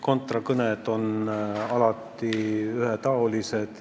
Contra-kõned on alati olnud ühetaolised.